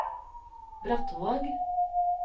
Brattvåg